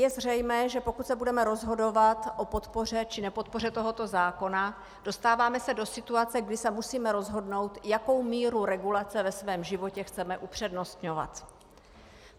Je zřejmé, že pokud se budeme rozhodovat o podpoře či nepodpoře tohoto zákona, dostáváme se do situace, kdy se musíme rozhodnout, jakou míru regulace ve svém životě chceme upřednostňovat.